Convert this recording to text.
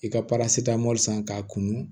I ka san k'a kunu